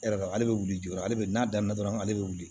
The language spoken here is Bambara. E yɛrɛ ale bɛ wuli jɔ ale bɛ n'a daminɛ dɔrɔn ale bɛ wuli